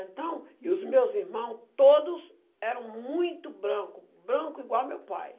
Então, e os meus irmão, todos eram muito branco, branco igual meu pai.